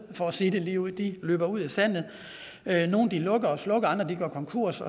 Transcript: for at sige det ligeud de løber ud i sandet nogle lukker og slukker andre går konkurs